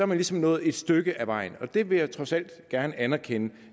man ligesom nået et stykke af vejen og det vil jeg trods alt gerne anerkende